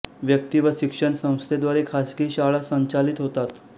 व्यक्ती व शिक्षण संस्थेद्वारे खासगी शाळा संचालित होतात